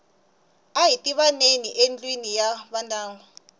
ahi tivaneni yi endliwa hi vandyangu